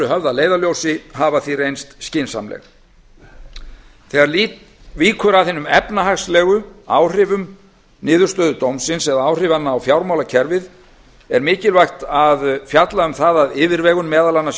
höfð að leiðarljósi hafa því reynst skynsamleg þegar víkur að hinum efnahagslegu áhrifum niðurstöðu dómsins eða áhrifanna á fjármálakerfið er mikilvægt að fjalla um það af yfirvegun meðal annars í